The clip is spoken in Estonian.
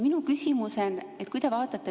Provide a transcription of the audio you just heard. Minu küsimus.